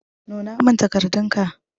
Nuna min takardun ka.